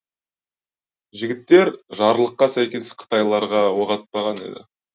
жігіттер жарлыққа сәйкес қытайларға оқ атпаған еді